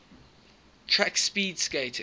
track speed skating